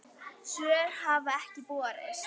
Svör hafa ekki borist.